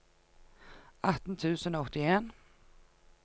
atten tusen og åttien